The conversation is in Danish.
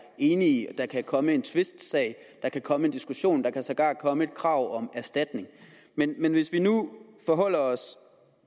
enige der kan komme en tvistsag der kan komme ind diskussionen og der kan sågar komme et krav om erstatning men hvis vi nu forholder os